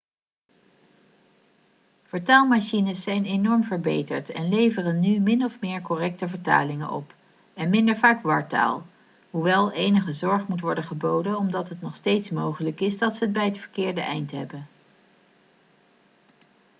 vertaalmachines zijn enorm verbeterd en leveren nu min of meer correcte vertalingen op en minder vaak wartaal hoewel enige zorg moet worden geboden omdat het nog steeds mogelijk is dat ze het bij het verkeerde eind hebben